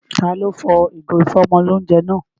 Taló fọ ìgò ìfọ́mọlóunjẹ náà?